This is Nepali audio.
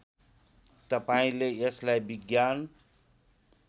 तपाईँले यसलाई विज्ञान